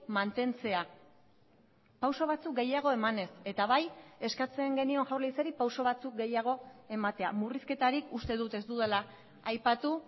mantentzea pauso batzuk gehiago emanez eta bai eskatzen genion jaurlaritzari pauso batzuk gehiago ematea murrizketarik uste dut ez dudala aipatu